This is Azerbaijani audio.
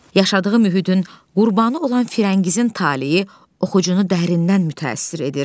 Yaşadığı mühitin qurbanı olan Firəngizin taleyi oxucunu dərindən mütəəssir edir.